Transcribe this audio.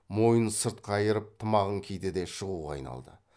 мойнын сырт қайырып тымағын киді де шығуға айналды